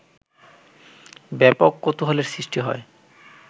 ব্যাপক কৌতূহলের সৃষ্টি হয়